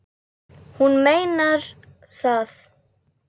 Hún meinar það.